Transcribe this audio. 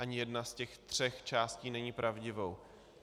Ani jedna z těch tří částí není pravdivou.